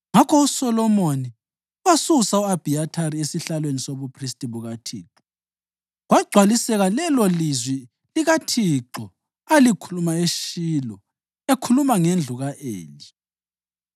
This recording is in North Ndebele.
Ngakho uSolomoni wasusa u-Abhiyathari esihlalweni sobuphristi bukaThixo, kwagcwaliseka lelolizwi likaThixo alikhuluma eShilo ekhuluma ngendlu ka-Eli.